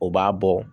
O b'a bɔ